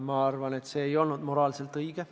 Ma arvan, et see ei olnud moraalselt õige.